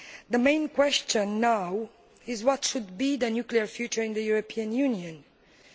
The main question now is what should the nuclear future of the European Union be?